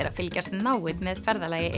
að fylgjast náið með ferðalagi